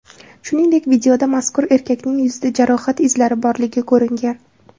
Shuningdek, videoda mazkur erkakning yuzida jarohat izlari borligi ko‘ringan.